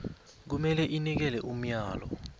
kumele inikele umyalo